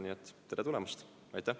Nii et tere tulemast!